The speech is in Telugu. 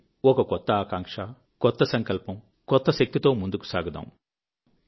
రండి ఒక కొత్త ఆకాంక్ష కొత్త సంకల్పం కొత్త శక్తితో ముందుకు సాగుదాం